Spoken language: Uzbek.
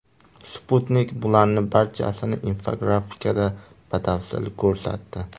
Sputnik bularning barchasini infografikada batafsil ko‘rsatdi .